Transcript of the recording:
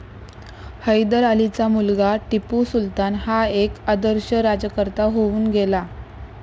हैदर अलीचा मुलगा टिपू सुलतान हा एक आदर्श राज्यकर्ता होऊन गेला.